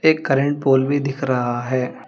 एक current pole भी दिख रहा है।